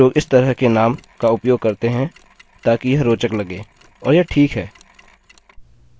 कुछ लोग इस तरह के नाम का उपयोग करते हैं ताकि यह रोचक लगे और यह ठीक है